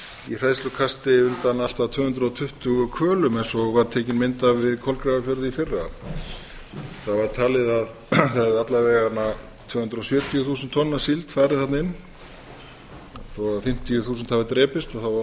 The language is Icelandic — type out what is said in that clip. í hræðslukasti undan allt að tvö hundruð tuttugu hvölum eins og var tekin mynd af við kolgrafafjörð í fyrra það var talið að það hefðu alla vega tvö hundruð sjötíu þúsund tonn af síld farið þarna inn þó fimmtíu þúsund hafi drepist var